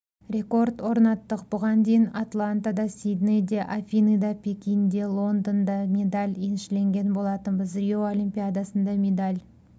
рекорд орнаттық бұған дейін атлантада сиднейде афиныда пекинде лондонда медаль еншілеген болатынбыз рио олимпиадасында медаль